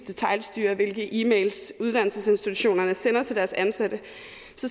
detailstyre hvilke e mails uddannelsesinstitutionerne sender til deres ansatte